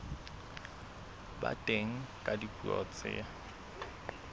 ba teng ka dipuo tse